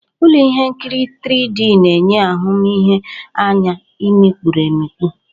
Ụlọ ihe nkiri 3D na-enye ahụmihe anya mikpụrụ emikpu.